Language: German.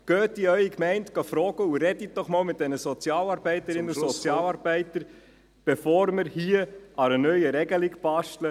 Fragen Sie in Ihrer Gemeinde nach, und sprechen Sie mit den Sozialarbeitern und Sozialarbeiterinnen bevor wir hier an einer neuen Regelung basteln.